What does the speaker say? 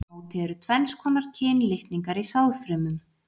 Aftur á móti eru tvenns konar kynlitningar í sáðfrumum.